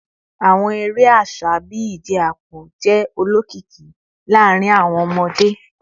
Awọn ere aṣa bii ije apo jẹ olokiki laarin awọn ọmọde